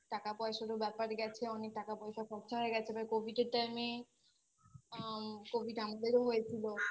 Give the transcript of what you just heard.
টাকা পয়সারও ব্যাপার গেছে অনেক টাকা পয়সা খরচা হয়ে গেছে এবার Covid এর Time এ আম Covid আমাদেরও হয়েছিল